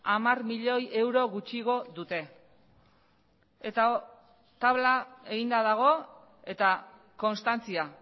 hamar milioi euro gutxiago dute eta tabla eginda dago eta konstantzia